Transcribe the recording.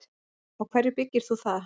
Á hverju byggir þú það?